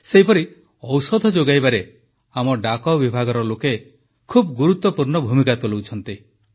ସେହିପରି ଔଷଧ ଯୋଗାଇବାରେ ଆମ ଡାକ ବିଭାଗର ଲୋକେ ବହୁତ ଗୁରୁତ୍ୱପୂର୍ଣ୍ଣ ଭୂମିକା ତୁଲାଉଛନ୍ତି